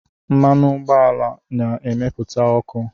Mmanụ ụgbọala na-emepụta ọkụ